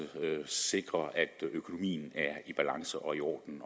sikre at økonomien er i balance og i orden